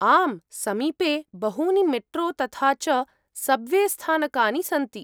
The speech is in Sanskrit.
आम्, समीपे बहूनि मेट्रो तथा च सब्वेस्थानकानि सन्ति।